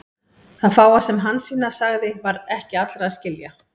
Og það fáa sem Hansína sagði var ekki allra að skilja.